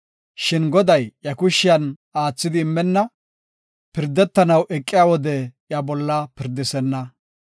Shin Goday iya kushen aathidi immenna; pirdetanaw eqiya wode iya bolla pirdisenna.